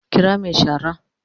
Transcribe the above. Kira mai shara